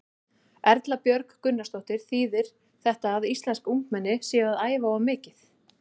Erla Björg Gunnarsdóttir: Þýðir þetta að íslensk ungmenni séu að æfa of mikið?